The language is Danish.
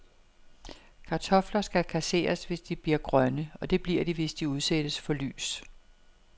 Kartofler skal kasseres, hvis de bliver grønne, og det bliver de, hvis de udsættes for lys.